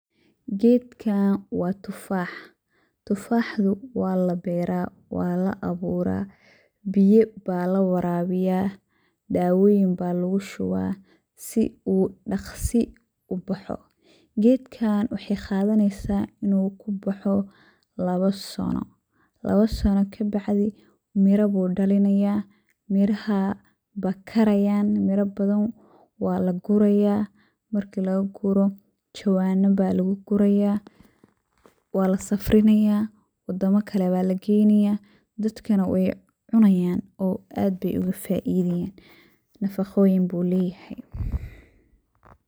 Gedkaan waa tufaax ,tufaaxgu waa la beraa ,waa la aburaa ,biya baa la warabiyaa ,dawoyin baa lagu shubaa ,si uu dhaksi u baxo . Gedkaan waxey qadaneysaa inuu ku baxo lawo sano, lawo sano ka bacdi miro buu dhalinayaa, mirahaa baa karayaan ,mira badan waa la gurayaa ,marki laga guro jawaanna baa lagu guraya, waa la safrinayaa ,waddama kale baa la geynayaa ,dadkana wey cunayaan oo aad bey oga faideyaan, nafaqoyin buu leyahay.